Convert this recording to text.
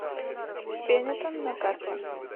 бенетон на карте